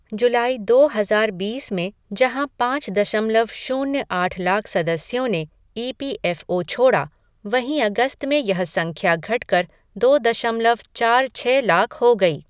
जुलाई दो हजार बीस में जहाँ पाँच दशमलव शून्य आठ लाख सदस्यों ने ई पी एफ़ ओ छोड़ा वहीं अगस्त में यह संख्या घटकर दो दशमलव चार छः लाख हो गई।